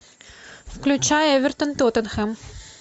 включай эвертон тоттенхэм